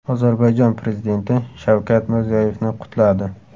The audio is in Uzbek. Ozarbayjon prezidenti Shavkat Mirziyoyevni qutladi.